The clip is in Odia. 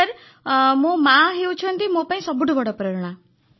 ସାର୍ ମୋର ମାଆ ହେଉଛନ୍ତି ମୋ ପାଇଁ ସବୁଠୁ ବଡ଼ ପ୍ରେରଣା